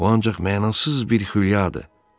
Bu ancaq mənasız bir xülyadır.